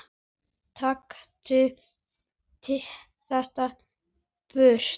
Taktu þetta burt!